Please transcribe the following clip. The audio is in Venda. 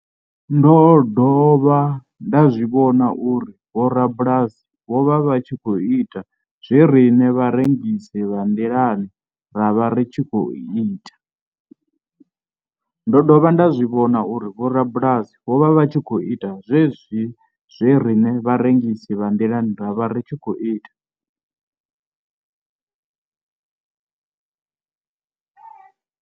Ndo dovha nda zwi vhona uri vhorabulasi vho vha vha tshi khou ita zwe riṋe vharengisi vha nḓilani ra vha ri tshi khou ita.